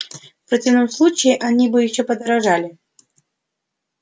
в противном случае они бы ещё подождали